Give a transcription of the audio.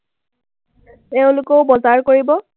তেওঁলোকেও বজাৰ কৰিব।